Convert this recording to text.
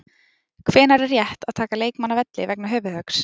Hvenær er rétt að taka leikmann af velli vegna höfuðhöggs?